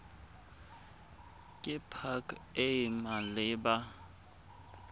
ke pac e e maleba